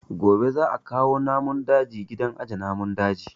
Gobe za a kawo wasu namun daji gidan aje namun daji